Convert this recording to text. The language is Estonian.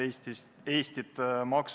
Hea Riigikogu esimees!